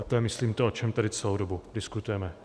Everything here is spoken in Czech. A to je, myslím, to, o čem tady celou dobu diskutujeme.